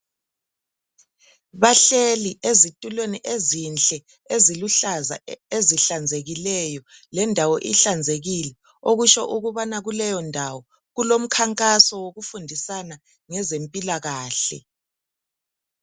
Bahleli ezitulweni ezinhle eziluhlaza ezihlanzekileyo lendawo ihlanzekile, okusho ukubana kuleyondawo kulomkhankaso wokufundisana ngezempilakahle.